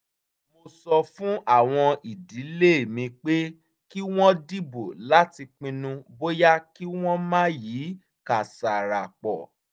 mo sọ fún àwọn ìdílé mi pé kí wọ́n dìbò láti pinnu bóyá kí wọ́n máa yí kàsárà po